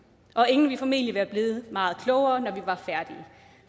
og ingen ville formentlig være blevet meget klogere